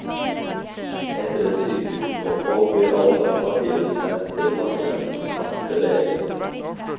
Etter et sykehusopphold blir alle papirer sendt pasientens faste lege.